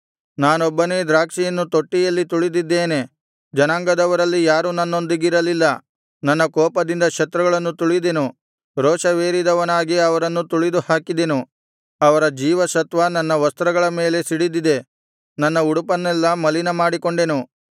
ನಾನೊಬ್ಬನೇ ದ್ರಾಕ್ಷಿಯನ್ನು ತೊಟ್ಟಿಯಲ್ಲಿ ತುಳಿದಿದ್ದೇನೆ ಜನಾಂಗದವರಲ್ಲಿ ಯಾರೂ ನನ್ನೊಂದಿಗಿರಲಿಲ್ಲ ನನ್ನ ಕೋಪದಿಂದ ಶತ್ರುಗಳನ್ನು ತುಳಿದೆನು ರೋಷವೇರಿದವನಾಗಿ ಅವರನ್ನು ತುಳಿದುಹಾಕಿದೆನು ಅವರ ಜೀವಸತ್ವ ನನ್ನ ವಸ್ತ್ರಗಳ ಮೇಲೆ ಸಿಡಿದಿದೆ ನನ್ನ ಉಡುಪನ್ನೆಲ್ಲಾ ಮಲಿನ ಮಾಡಿಕೊಂಡೆನು